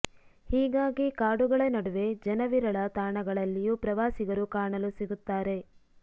ಹೀಗಾಗಿ ಕಾಡುಗಳ ನಡುವೆ ಜನ ವಿರಳ ತಾಣಗಳಲ್ಲಿಯೂ ಪ್ರವಾಸಿಗರು ಕಾಣಲು ಸಿಗುತ್ತಾರೆ